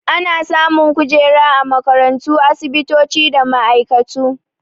Ana samun kujera a makarantu, asibitoci da ma'aikatu.